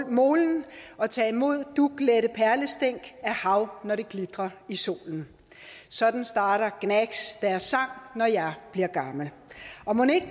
molen og ta imod duglette perlestænk af hav når det glitrer i solen sådan starter gnags deres sang når jeg bliver gammel og mon ikke